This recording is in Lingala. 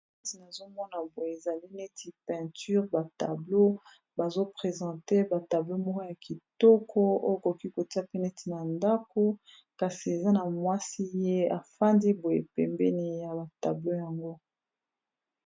Neti nazomona boye ezali neti peinture, ba tablon, bazo presente ba tablon moka ya kitoko, oyo okoki kotia pe neti na ndako kasi eza na mwasi ye afandi boye pembeni ya ba tablon yango.